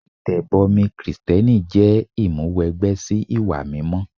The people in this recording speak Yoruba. Ìtẹ̀bọmi Kristẹni jẹ́ ìmúwẹgbẹ́ sí ìwà mímọ́.